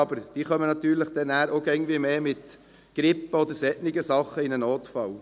Diese kommen aber auch immer mehr mit Grippe oder solchen Dingen in den Notfall.